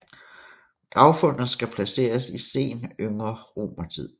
Gravfundet skal placeres i sen yngre romertid